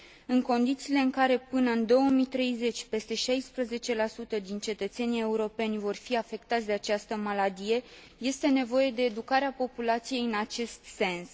În condițiile în care, până în 2030, peste 16 din cetățenii europeni vor fi afectați de această maladie, este nevoie de educarea populației în acest sens.